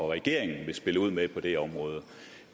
regering